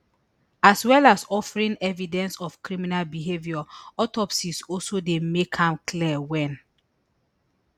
as well as offering evidence of criminal behaviour autopsies also dey make am clear wen